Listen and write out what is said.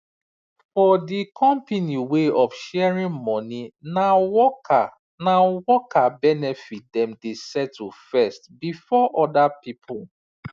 for the company way of sharing money na worker na worker benefit dem dey settle first before other people